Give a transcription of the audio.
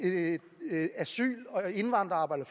asyl og indvandring